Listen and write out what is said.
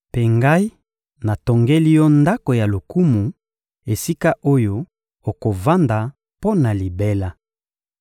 Mpe ngai natongeli Yo ndako ya lokumu, esika oyo okovanda mpo na libela.